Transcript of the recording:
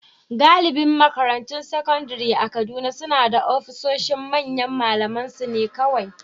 Galibin makarantun sakandare a Kaduna suna da ofisoshin manyan malamansu ne kawai